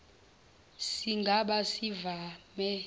siga ba sivame